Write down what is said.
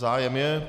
Zájem je.